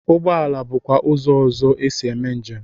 Ụgboala bụkwa ụzọ ọzọ esi eme njem.